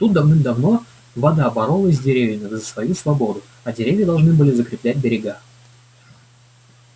тут давным-давно вода боролась с деревьями за свою свободу а деревья должны были закреплять берега